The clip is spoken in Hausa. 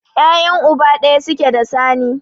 Ya'yan uba ɗaya suke da Sani.